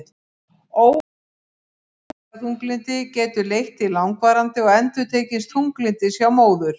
Ómeðhöndlað fæðingarþunglyndi getur leitt til langvarandi og endurtekins þunglyndis hjá móður.